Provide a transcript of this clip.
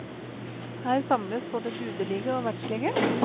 Her samles både gudelige og verdslige.